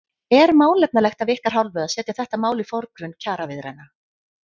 Er málefnalegt af ykkar hálfu að setja þetta mál í forgrunn kjaraviðræðna?